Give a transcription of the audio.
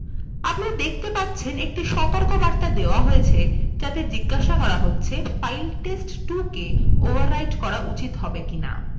আপনি দেখতে পারছেন একটি সতর্কবার্তা দেওয়া হয়েছে যাতে জিজ্ঞাসা করা হচ্ছে ফাইল test2কে overwrite করা উচিত হবে কী হবে না